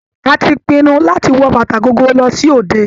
A ti pinnu láti wọ bàtà gogoro lọ sí òde.